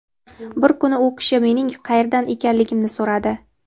Bir kuni u kishi mening qayerdan ekanligimni so‘radi.